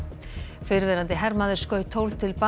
fyrrverandi hermaður skaut tólf til bana